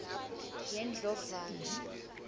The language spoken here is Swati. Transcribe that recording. yendlovana